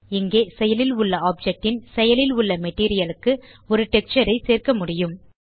இங்கே செயலில் உள்ள ஆப்ஜெக்ட் ன் செயலில் உள்ள மெட்டீரியல் க்கு ஒரு டெக்ஸ்சர் ஐ சேர்க்க முடியும்